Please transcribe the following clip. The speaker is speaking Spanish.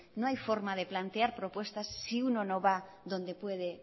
no hay forma de plantear propuestas si uno no va donde puede